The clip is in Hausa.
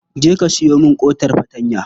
Je ka sayo min ƙotar fartanya.